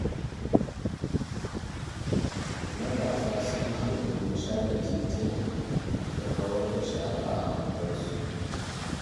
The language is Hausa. Matasa sun haɗu domin share tituna da kawar da shara a unguwarsu.